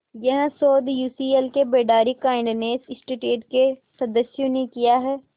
यह शोध यूसीएलए के बेडारी काइंडनेस इंस्टीट्यूट के सदस्यों ने किया है